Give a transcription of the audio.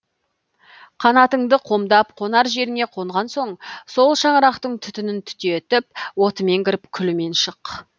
қанатыңды қомдап қонар жеріңе қонған соң сол шаңырақтың түтінін түтетіп отымен кіріп күлімен шық